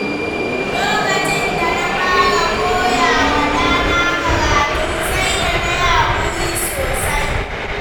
Lokacin da na fara koya wa ɗana karatu, sai da nayi haƙuri sosai.